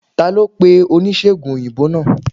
Talo pe onisegùn oyinbo naa?